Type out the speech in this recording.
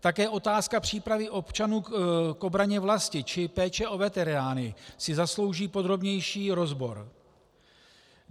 Také otázka přípravy občanů k obraně vlasti či péče o veterány si zaslouží podrobnější rozbor.